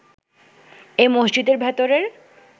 এ মসজিদের ভেতরের